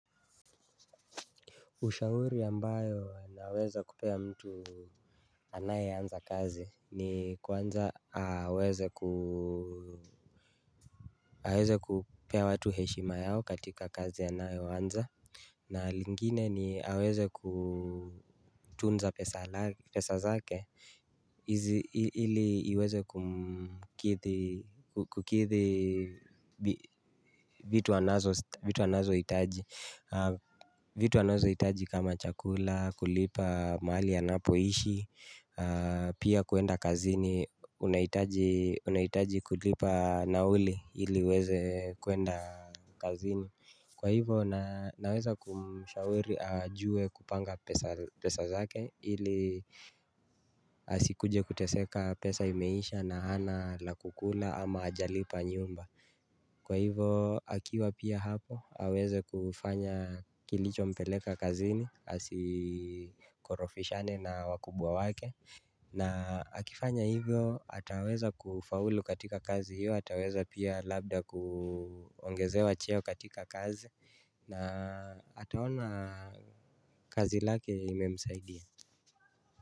Ushauri ambayo anaweze kupea mtu anayeanza kazi ni kwanza aweze ku aweze kupea watu heshima yao katika kazi anayoanza. Na lingine ni aweze kutunza pesa zake. Ili iweze kumkidhi kukidhi vitu anazohitaji vitu anazohitaji kama chakula, kulipa mahali anapoishi. Pia kuenda kazini, unahitaji kulipa nauli ili uweze kuenda kazini. Kwa hivo naweza kumshauri ajuwe kupanga pesa pesa zake ili asikuje kuteseka pesa imeisha na hana la kukula ama ajalipa nyumba. Kwa hivyo akiwa pia hapo aweze kufanya kilichompeleka kazini asikorofishane na wakubwa wake. Na akifanya hivyo ataweza kufaulu katika kazi hiyo ataweza pia labda kuongezewa cheo katika kazi. Na ataona kazi lake imemsaidia.